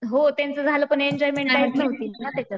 हो ते तर झालं पण एन्जॉयमेंट काहीच नव्हती ना त्याचात.